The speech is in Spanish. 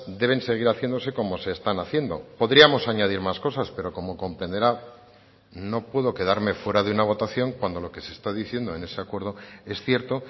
deben seguir haciéndose como se están haciendo podríamos añadir más cosas pero como comprenderá no puedo quedarme fuera de una votación cuando lo que se está diciendo en ese acuerdo es cierto